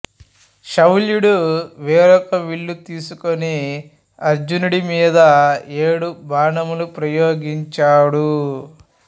శల్యుడు వేరొక విల్లు తీసుకుని అర్జునుడి మీద ఏడు బాణములు ప్రయోగించాడు